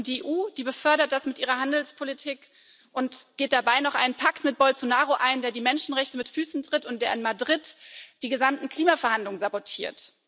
Die EU befördert das mit ihrer Handelspolitik und geht dabei noch einen Pakt mit Bolsonaro ein, der die Menschenrechte mit Füßen tritt und in Madrid die gesamten Klimaverhandlungen sabotiert.